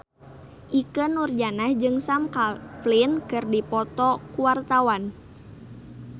Ikke Nurjanah jeung Sam Claflin keur dipoto ku wartawan